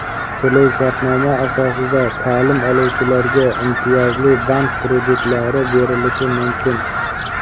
To‘lov-shartnoma asosida ta’lim oluvchilarga imtiyozli bank kreditlari berilishi mumkin.